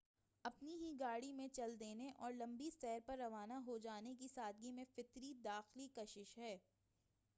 اپنی ہی گاڑی میں چل دینے اور لمبی سیر پر روانہ ہو جانے کی سادگی میں فطری داخلی کشش ہے